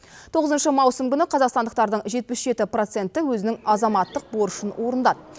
тоғызыншы маусым күні қазақстандықтардың жетпіс жеті проценті өзінің азаматтық борышын орындады